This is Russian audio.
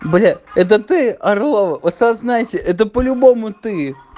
бля это ты орлова осознаете это по любому ты